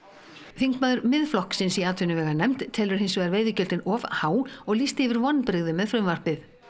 þingmaður Miðflokksins í atvinnuveganefnd telur hins vegar veiðigjöldin of há og lýsti yfir vonbrigðum með frumvarpið